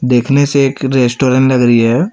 देखने से एक रेस्टोरेंट लग रही है।